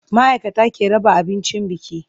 Ma'aikata ke raba abincin biki.